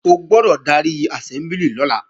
O gbọ́dọ̀ darí àsẹ́mbúlì lọ́la!